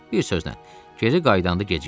Bir sözlə, geri qayıdanda gecikdik.